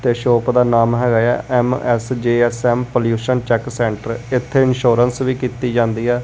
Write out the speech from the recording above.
ਤੇ ਸ਼ੋਪ ਦਾ ਨਾਮ ਹੈਗਾ ਆ M S J S M pollution check centre ਇੱਥੇ ਇਨਸ਼ੋਰਂਸ ਵੀ ਕੀਤੀ ਜਾਂਦੀ ਆ।